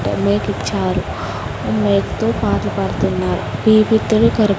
ఓ మేకిచ్చారు ఓ మేకుతో పాటలు పాడుతున్నారు --